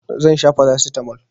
Zan sha farasitamol.